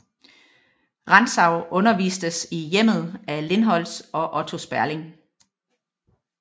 Rantzau undervistes i hjemmet af Lindholz og Otto Sperling